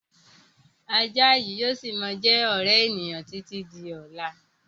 Ajá yìí ó síí má jẹ́ ọ̀rẹ́ ènìyàn títí di ọ̀la